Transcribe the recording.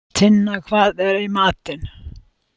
Tinna, hvað er í matinn?